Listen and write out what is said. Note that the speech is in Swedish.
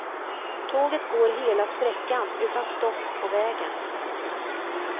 Tåget går hela sträckan utan stopp på vägen.